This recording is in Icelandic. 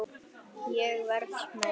Ég verð smeyk.